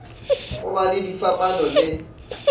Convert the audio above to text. go ba le difapano le